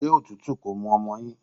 Ṣé òtútù kò mú ọmọ yín?